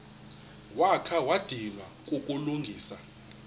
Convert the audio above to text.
wakha wadinwa kukulungisa